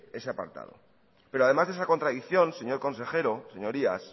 ese apartado pero además de esa contradicción señor consejero señorías